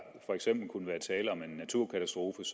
tale om en naturkatastrofe